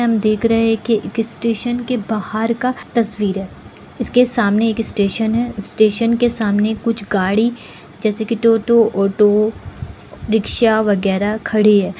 यहाँ हम देख रहे हैं की किसी स्टेशन के बाहर का तस्वीर है इसके सामने एक स्टेशन है स्टेशन के सामने कुछ गाड़ी जैसे की टोटो ऑटो रिक्शा वगैरा खड़ी है।